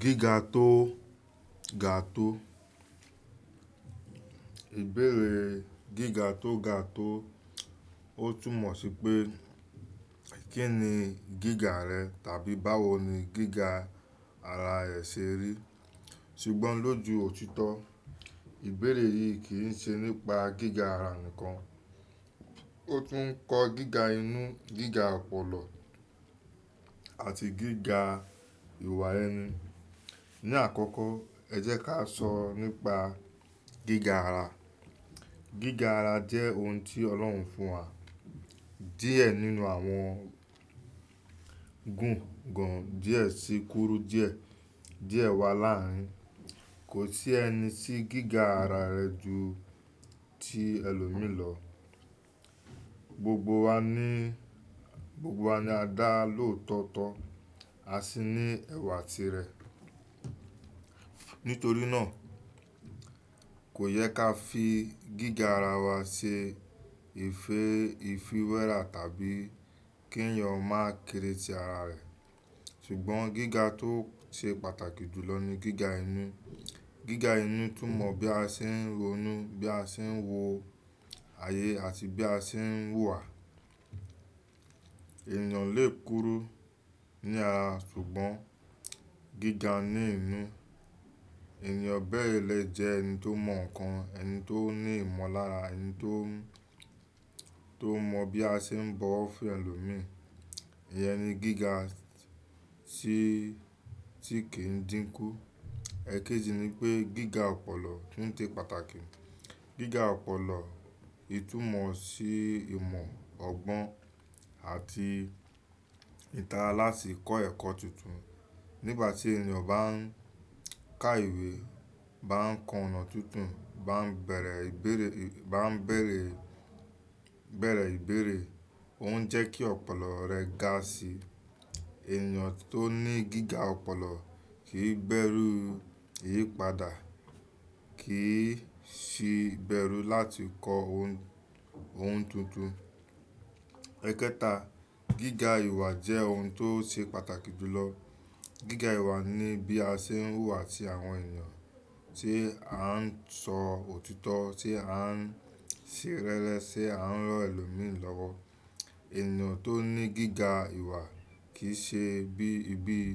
Gíga tó ga tó. Ìbéèrè gíga tó ga tó. Ó túnmọ̀ sí pé kí ni gíga rẹ tàbí báwo ni gíga ara rẹ ṣe rí. Ṣùgbọ́n lójú òtítọ́, ìbéèrè yìí kì í ṣe nípa gíga ara nìkan. Ó tún kọ gíga inú, gíga ọ̀pọ̀lọ̀ àti gíga ìwà ẹni. Ni àkọ́kọ́ ẹ jẹ́ ká sọ nípa gíga ara. Gíga ara jẹ́ ohun tí Ọlọ́run fún wa díẹ̀ nínú àwọn gún gan-an díẹ̀ sí kúrú díẹ̀, díẹ̀ wa láàrin. Kò sí ẹni tí gíga ara rẹ ju ti ẹlòmíì lọ. Gbogbo wa ní, gbogbo wa ni a dá lóòtọ́ ọ́tọ́, a sì ní ẹ̀wà tirẹ̀. Nítorí náà kò yẹ ká fi gíga ara wa ṣe ife-ìfewéra tàbí kí ẹ̀yàn máa kere si ara rẹ̀. Ṣùgbọ́n gíga tó ṣe pàtàkì jùlọ ni gíga inú. Gíga inú túnmọ̀ bí a ṣe ń ro nú, bí a ṣe ń wo ayé àti bí a ṣe ń hùwà. Ènìyàn lè kúrú ní ara ṣùgbọ́n gíga ní inú. Ènìyàn bẹ́ẹ̀ lè jẹ́ ẹni tó mọ̀ ǹkan, ẹni tó ní ìmọ̀lára, ẹni tó, tó mọ̀ bí a ṣe ń bọwọ́ fún ẹlòmíì. Ìyẹn ni gíga tí, tí kì í dínkú. Ẹ̀kéjì ni pé gíga ọ̀pọ̀lọ̀ tún ṣe pàtàkì. Gíga ọ̀pọ̀lọ̀ ìtúmọ̀ sí ìmọ̀ ọgbọ́n àti ìtara láti kọ́ ẹ̀kọ́ tuntun. Nígbà tí ènìyàn bá ń ka ìwé, bá ń kọ ọ̀un tuntun, bá ń bẹ̀rẹ̀ ìbéèrè, bá ń bẹ̀rẹ̀, bẹ̀rẹ̀ ìbéèrè, òun jẹ́ kí ọ̀pọ̀lọ̀ rẹ̀ ga sí i. Ènìyàn tó ní gíga ọ̀pọ̀lọ̀ kì í bérú ìyípadà, kì í sìí bérú láti kọ ohun, ohun tuntun. Ẹ̀kẹta, gíga ìwà jẹ́ ohun tó ṣe pàtàkì jùlọ. Gíga ìwà ni bí a ṣe ń wùwà sí àwọn ènìyàn, tí à ń sọ òtítọ́, tí à ń ṣe rẹ́rẹ́, tí à ń rọ́ ẹlòmíì lọ́wọ́. Ènìyàn tó ní gíga ìwà kì ṣe bí i, bí i,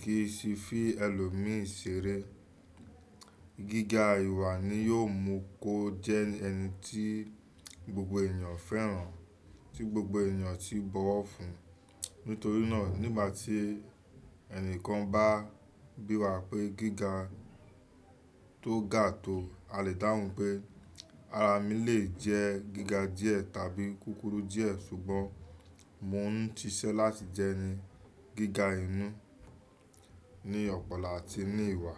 kì í sìí fi ẹlòmíì ṣeré. Gíga ìwà ni yiò mú kó jẹ́ ẹni tí gbogbo ènìyàn fẹ́ràn, tí gbogbo ènìyàn tí ń bọwọ́ fún. Nítorí náà nígbà tí ẹnìkan bá bi wa pé gíga tó ga tó, a lè dáhùn pé ara mi lè jẹ́ gíga díẹ̀ tàbí kúkúrú díẹ̀ ṣùgbọ́n mò ń ṣiṣẹ́ láti jẹni gíga inú, ní ọ̀pọ̀lọ̀ àti ní ìwà.